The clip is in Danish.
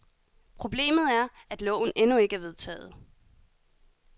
Problemet er, at loven endnu ikke er vedtaget.